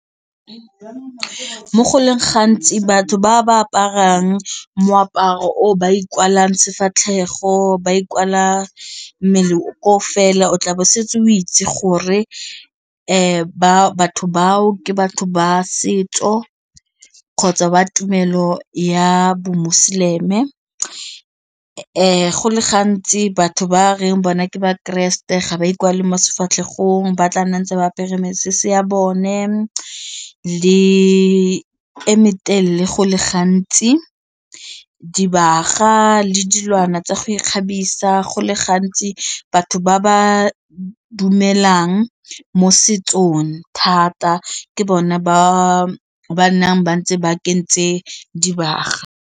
Mo go leng gantsi batho ba ba aparang moaparo o ba ikwalang sefatlhego ba ikwala mmele o fela o tla bo setse o itse gore ba batho bao ke batho ba setso kgotsa ba tumelo ya bomoseleme, go le gantsi batho ba reng bona ke bakreste ga ba ikwale mo sefatlhegong ba tla nna ntse ba apere mesese ya bone le e metelele go le gantsi, dibaga le dilwana tsa ikgabisa go le gantsi batho ba ba dumelang mo setsong thata ke bone ba ba nnang ba ntse ba kentse dibaga.